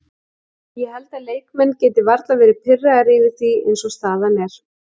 Ég held að leikmenn geti varla verði pirraðir yfir því eins og staðan er.